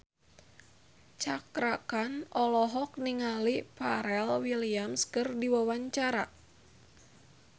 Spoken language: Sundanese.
Cakra Khan olohok ningali Pharrell Williams keur diwawancara